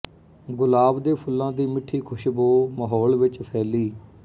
ਗੁਲਾਬ ਦੇ ਫੁੱਲਾਂ ਦੀ ਮਿੱਠੀ ਖ਼ੁਸ਼ਬੋ ਮਾਹੌਲ ਵਿਚ ਫੈਲੀ